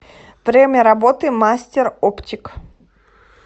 время работы мастер оптик